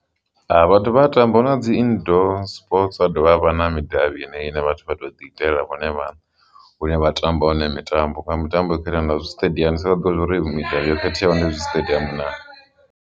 Vhathu vha a tamba hu na dzi indoor sports ha dovha havha na midavhi ine vhathu vha tou ḓiitela vhone vhaṋe hune vha tamba hone mitambo nga mitambo ino fana zwiṱediamu vha ḓo uri midavhi yo khetheyaho ndi zwi siṱediamu naa.